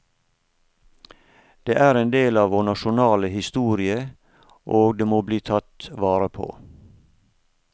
Det er en del av vår nasjonale historie, og det må bli tatt vare på.